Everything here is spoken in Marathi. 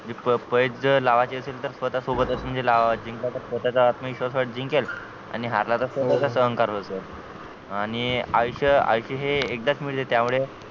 प प पैज जर लावायची असेल तर स्वतःसोबतच म्हणजे लावायची जिंकला तर स्वतःचा आत्मविश्वास जिंकेल आणि हरला तर स्वतःचा सहन करायचं आणि आयुष्य आयुष्य हे एकदाच मिळते त्यामुळे